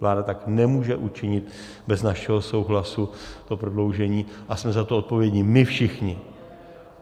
Vláda tak nemůže učinit bez našeho souhlasu, to prodloužení, a jsme za to odpovědní my všichni.